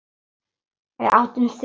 Við áttum þrjú.